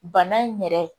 Bana in yɛrɛ